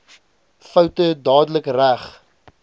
foute dadelik reg